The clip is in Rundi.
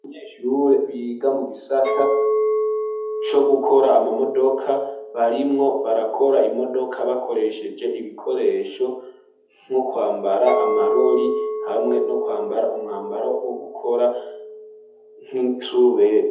abanyeshure biga mu gisata co gukora amamodoka barimwo barakora imodoka bakoresheje ibikoresho nko kwambara amaroli hamwe no kwambara umwambaro wo gukora nk,isarubeti